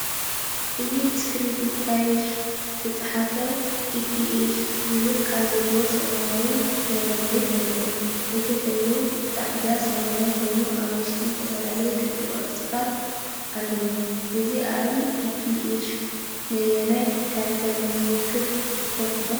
እዚ ብስክሪፕት ታይፉ ዝተጻሕፈ "ኤፒኤፍ" ዝብል ቃል ዘለዎ ሰማያዊ ሞላሊት የርኢ። እቲ ሕብሩ ጻዕዳን ሰማያውን ኮይኑ፡ ኣብ ውሽጡ ዝተፈላለየ ክቢ ቅርጽታት ኣለዎ። እዚ ኣርማ ኤፒኤፍ ንኣየናይ ትካል ከም ዝውክል ትፈልጡ ዶ?"